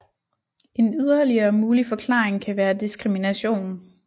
En yderligere mulig forklaring kan være diskrimination